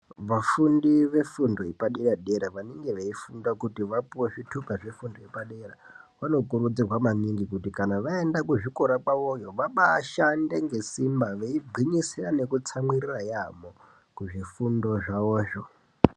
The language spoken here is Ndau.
Vafundi vefundo yepadera-dera vanenge veifunda kuti vapive zvitupa zvefundo yepadera. Vanokurudzirwa maningi kuti kana vaenda kuzvikora kwavoyo vabashande ngesimba veigwinyisira nekutsamwirira yaamho, kuzvifundo zvavozvo.